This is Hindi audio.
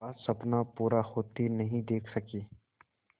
का सपना पूरा होते नहीं देख सके